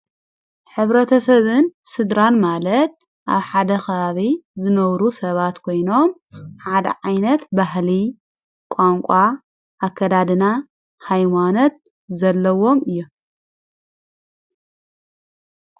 ኅብረተ ሰብን ሥድራን ማለድ ኣብ ሓደኽባቢ ዘነውሩ ሰባት ኮይኖም ዓደ ዓይነት ባሕሊ ቛንቋ ኣከዳድና ኃይዋነት ዘለዎም እዮም።